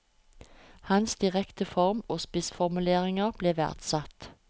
Hans direkte form og spissformuleringer ble verdsatt.